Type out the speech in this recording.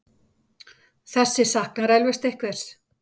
Þessi saknar eflaust einhvers.